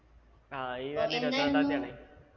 ആ ഈ വരുന്ന ഇരുപത്തിരണ്ടാംതിയാണേ